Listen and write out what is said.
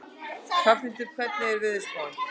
Hrafnhildur, hvernig er veðurspáin?